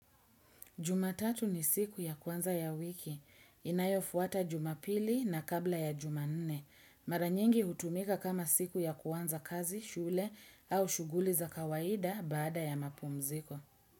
Jumatatu ni siku ya kwanza ya wiki. Inayofuata jumapili na kabla ya jumanne. Maranyingi hutumika kama siku ya kwanza kazi, shule au shuguli za kawaida baada ya mapumziko.